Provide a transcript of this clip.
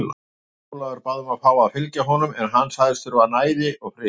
Ólafur bað um að fá að fylgja honum en hann sagðist þurfa næði og frið.